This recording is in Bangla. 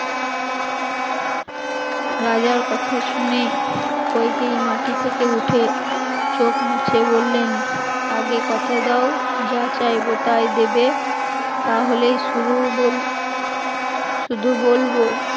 রাজার কথা শুনে কইকেয়ী মাটি থেকে উঠে চোখ মুছে বললেন আগে কথা দাও, যা চাইবো তাই দেবে তাহলে শুধু বল শুধু বলবো